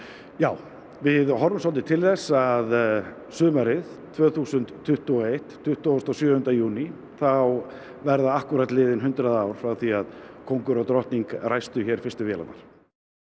já við horfum svolítið til þess að sumarið tvö þúsund tuttugu og eitt tuttugasta og sjöunda júní þá verða akkúrat liðin hundrað ár frá því að kóngur og drottning ræstu hér fyrstu vélarnar